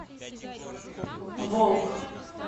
волк